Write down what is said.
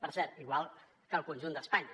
per cert igual que el conjunt d’espanya